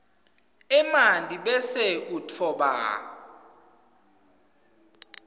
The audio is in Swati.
emanti bese utfoba